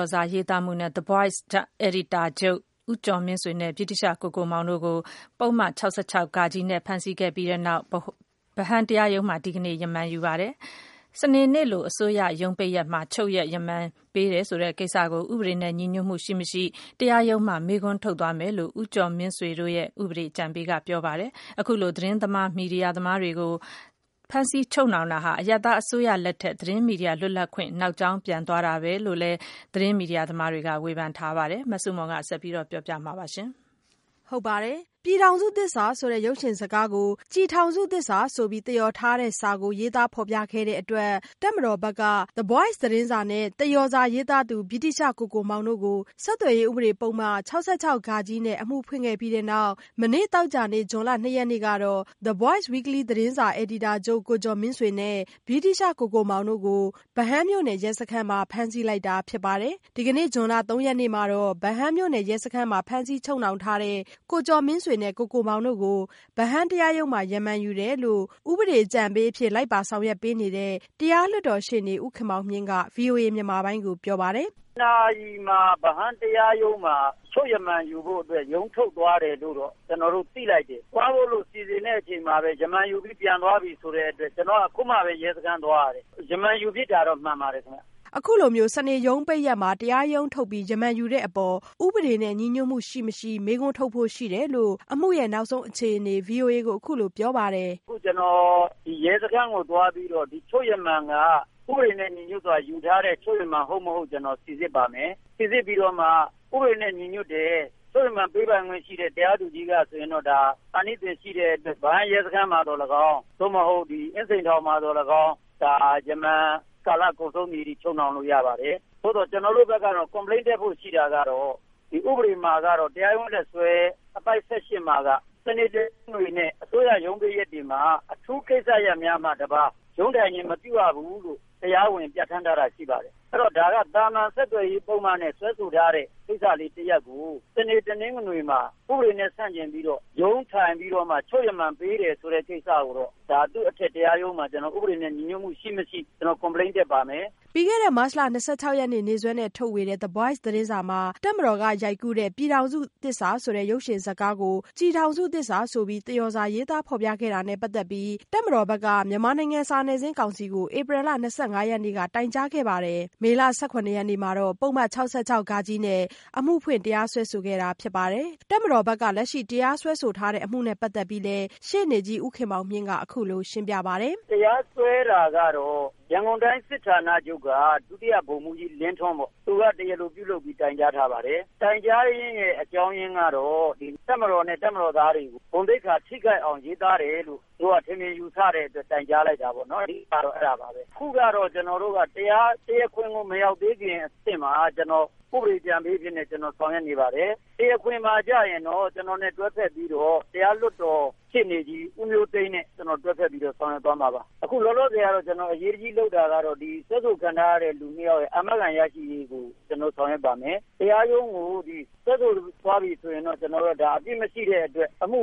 ော်စာရေးသားမှုနဲ့ The Voice အယ်ဒီတာချုပ် ဦးကျော်မင်းဆွေနဲ့ ဗြိတိသျှ ကိုကိုမောင်တို့ကို ပုဒ်မ ၆၆-ဃနဲ့ ဖမ်းဆီးလိုက်ပြီးတဲ့နောက် ဗဟန်းတရားရုံးမှာ ဒီကနေ့ ချုပ်ရက်ရမန်ယူပါတယ်။စနေနေ့လိုအစိုးရရုံးပိတ်ရက်မှာ ချုပ်ရက်ရမန်ပေးတယ်ဆိုတဲ့ကိစ္စကို ဥပဒေနဲ့ ညီညွတ်မှု ရှိ-မရှိ တရားရုံးမှာ မေးခွန်းထုတ်သွားမယ်လို့ ဦးကျော်မင်းဆွေတို့ရဲ့ ဥပဒေအကြံပေးကပြောပါတယ်။ အခုလို သတင်းမီဒီယာသမားတွေကို ဖမ်းဆီးချုပ်နှောင်တာဟာ အရပ်သားအစိုးရလက်ထက် သတင်းမီဒီယာလွတ်လပ်ခွင့် နောက်ကြောင်းပြန် သွားတာပဲလို့လည်း သတင်းမီဒီယာသမားတွေက ဝေဖန်လိုက်ပါတယ်။ မဆုမွန် ဆက်ပြောပြပါမယ်။ "ပြည်ထောင်စုသစ္စာ"ဆိုတဲ့ ရုပ်ရှင်ဇာတ်ကားကို "ကျည်ထောင်စုသစ္စာ" ဆိုပြီး သရော်ထားတဲ့စာကို ရေးသားဖော်ပြခဲ့တဲ့ အတွက် တပ်မတော်ဘက်က The Voice သတင်းစာ နဲ့ သရော်စာရေးသားသူ ဗြိတိသျှကိုကိုမောင် တို့ကို ဆက်သွယ်ရေးဥပဒေ ပုဒ်မ ၆၆-ဃ နဲ့ အမှုဖွင့်ခဲ့ပြီးတဲ့နောက် မနေ့သောကြာနေ့ ဇွန်လ ၂ရက်နေ့ကတော့ The Voice Weekly သတင်းစာ အယ်ဒီတာချုပ် ကိုကျော်မင်းဆွေ နဲ့ ဗြိတိသျှ ကိုကိုမောင်တို့ကို သရော်စာရေးသားဖော်ပြမှု နဲ့ ဗဟန်းမြို့နယ် ရဲစခန်းက ဖမ်းဆီးလိုက်တာဖြစ်ပါတယ်။ ဒီကနေ့ ဇွန်လ ၃ရက်နေ့မှာတော့ ဗဟန်းရဲစခန်းမှာ ဖမ်းဆီးချုပ်နှောင်ထားတဲ့ ကိုကျော်မင်းဆွေနဲ့ ကိုကိုမောင်တို့ကို ဗဟန်းတရားရုံးမှာ ချုပ်ရက်ရမန်ယူတယ်လို့ ကိုကျော်မင်းဆွေနဲ့ ကိုကိုမောင်တို့အတွက် ဥပဒေအကြံပေးအဖြစ် လိုက်ပါဆောင်ရွက်ပေးနေတဲ့ တရားလွှတ်တော်ရှေ့နေ ဦးခင်မောင်မြင့်ကပြောပါတယ်။ “ တနာရီမှာ ဗဟန်းမြို့နယ်တရားရုံးမှာ ချုပ်ရမန်ယူဖို့ ရုံးထုတ်သွားတယ်လို့တော့ ကျနော်တို့ သိလိုက်တယ်။ သွားဖို့စီစဉ်တဲ့အချိန်မှာပဲ ရမာန်ယူပြီး သွားပြီဆိုပြီဆိုတဲ့အတွက် ကျနော်က အခုမှပဲ ရဲစခန်းသွားရတယ်။ ရမန်ယူဖြစ်တာတော့ မှန်ပါတယ်ခင်ဗျ။” အခုလို စနေရုံးပိတ်ရက်မှာ တရားရုံးထုတ်ပြီး ရမန်ယူတဲ့အပေါ် ဥပဒေနဲ့ညီညွတ်မှုရှိ-မရှိ မေးခွန်းထုတ်ဖို့ရှိတယ်လို့ အမှုရဲ့နောက်ဆုံးအခြေအနေကို ဗွီအိုအေကို အခုလိုပြောပါတယ်။ “ အခု ကျနော် ရဲစခန်းကိုသွားပြီးတော့ ဒီချုပ်ရမန်က ဥပဒေနဲ့ ညီညွတ်စွာ ယူထားတဲ့ ချုပ်ရမန်ဟုတ်မဟုတ် ဆိုတာကို ကျနော် စီစစ်ပါမယ်။ စီစစ်ပြီးတော့မှ ဥပဒေနဲ့ညီညွတ်တယ်။ ချုပ်ရမန် ပေးပိုင်ခွင့်ရှိတဲ့ တရားသူကြီးကပေးတယ်ဆိုရင်တော့ အာနိသင်ရှိတဲ့အတွက် ဗဟန်းရဲစခန်းမှာသော်လည်းကောင်း၊ သို့မဟုတ် အင်းစိန်ထောင်မှာသော်လည်းကောင်း ဒါရမာန် ကာလကုန်ဆုံးသည်အထိ ချုပ်နှောင်လို့ရပါတယ်။ သို့သော် ကျနော်တို့ဘက်က Complain တက်ဖို့ရှိတာကတော့ တရားရုံးလက်စွဲ အပိုဒ် ၁၈မှာတော့ စနေ၊ တနင်္ဂနွေနဲ့ အစိုးရရုံးပိတ်ရက်တွေမှာ အထူးကိစ္စရပ်များမှတပါး ရုံးထိုင်ခြင်း မပြုရဘူးလို့ တရားဝင် ပြဌာန်းထားတာရှိပါတယ်။ အဲ့တော့ သာမာန်ဆက်သွယ်ရေးပုဒ်မနဲ့ စွဲဆိုထားတဲ့ကိစ္စတရပ်ကို စနေ၊ တနင်္ဂနွေမှာ ဥပဒေနဲ့ဆန့်ကျင်ပြီးတော့ ရုံးထိုင်ပြီးတော့ ချုပ်ရမန်ပေးတယ်ဆိုတဲ့ ကိစ္စကိုတော့ ဒါ သူ့အထက်တရားရုံးမှာ ဒါ ဥပဒေနဲ့ညီညွတ်မှု ရှိ-မရှိ Complain တက်ပါမယ်။” ပြီးခဲ့တဲ့ မတ်လ ၂၆ ရက်နေ့ နေ့စွဲနဲ့ ထုတ်ဝေတဲ့ The Voice သတင်းစာမှာ တပ်မတော်ကရိုက်ကူးတဲ့ "ပြည်ထောင်စုသစ္စာ" ရုပ်ရှင်ဇာတ်ကား ကို "ကျည်ထောင်စုသစ္စာ" ဆိုပြီး သရော်စာ ရေးသားဖော်ပြခဲ့တာနဲ့ ပတ်သက်ပြီး ဖြေရှင်းပေးဖို့ တပ်မတော်က မြန်မာနိုင်ငံ စာနယ်ဇင်းကောင်စီကို ဧပြီလ ၂၅ ရက်နေ့က တိုင်ကြားခဲ့ပါတယ်။ မေလ ၁၇ ရက်နေ့က ပုဒ်မ ၆၆-ဃ နဲ့ အမှုဖွင့်လိုက် တရားစွဲဆိုခဲ့တာဖြစ်ပါတယ်။ တပ်မတော်က လက်ရှိတရားစွဲဆိုခံထားရတဲ့အမှုနဲ့ပတ်သက်ပြီးလည်း ရှေ့နေကြီးဦးခင်မောင်မြင့်က အခုလိုရှင်းပြပါတယ်။ “တရားစွဲတာကတော့ ရန်ကုန်တိုင်းစစ်ဌာနချုပ်က ဒုတိယဗိုလ်မှူးကြီးလင်းထွန်းပေါ့။ သူက တရားလိုပြုလုပ်ပြီး တိုင်ကြားထားပါတယ်။ တိုင်ကြားရင်းရဲ့ အကြောင်းရင်းကတော့ တပ်မတော်နဲ့ တပ်မတော်သားတွေကို ဂုဏ်သိက္ခာထိခိုက်အောင် ရေးသားတယ်လို့ သူတို့က ထင်မြင်ယူဆတဲ့အတွက် တိုင်ကြားလိုက်တာပေါ့နော် အဓိကကတော့ အဲ့တာပါပဲ။ အခုကတော့ ကျနော်တို့က တရားခွင်ကို မရောက်ခင်အဆင့်မှာ ကျနော်က ဥပဒေအကြံပေးအဖြစ်နဲ့ ဆောင်ရွက်နေပါတယ်။ တရားခွင်မှာကျရင်တော့ ကျနော်နဲ့ တွဲဖက်ပြီးတော့ တရားလွှတ်တော်ရှေ့နေကြီး ဦးမျိုးသိန်းနဲ့ ကျနော်တွဲဖက်ပြီး ဆောင်ရွက်သွားမှာပါ။ အခုလောလောဆယ် ကျနော်တို့ အရေးတကြီးလုပ်နေတာကတော့ စွဲဆိုခံထားရတဲ့ လူနှစ်ယောက်ရဲ့ အာမခံရရှိရေးကို ကျနော်တို့ဆောင်ရွက်ပါမယ်။ တရားရုံးကို စွဲဆိုသွားပြီဆိုရင်တော့ ဒါ အပြစ်မရှိတဲ့အတွက် အမှု